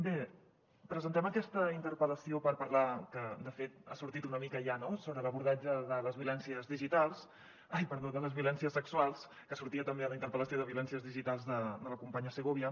bé presentem aquesta interpel·lació per parlar que de fet ha sortit una mica ja no sobre l’abordatge de les violències sexuals que sortia també a la interpel·lació de violències digitals de la companya segovia